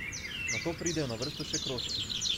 Nato pridejo na vrsto še krožki.